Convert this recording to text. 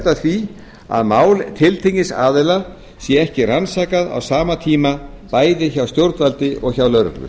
að því að mál tiltekins aðila sé ekki rannsakað á sama tíma bæði hjá stjórnvaldi og hjá lögreglu